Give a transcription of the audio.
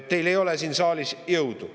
Teil ei ole siin saalis jõudu.